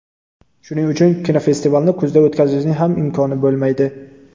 Shuning uchun kinofestivalni kuzda o‘tkazishning ham imkoni bo‘lmaydi.